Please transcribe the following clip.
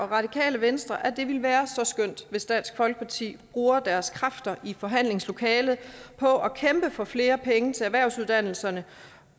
radikale venstre at det ville være så skønt hvis dansk folkeparti bruger deres kræfter i forhandlingslokalet på at kæmpe for flere penge til erhvervsuddannelserne